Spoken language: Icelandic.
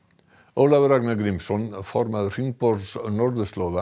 Ólafur Ragnar Grímsson formaður hringborðs norðurslóða